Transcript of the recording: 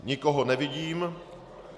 Nikoho nevidím.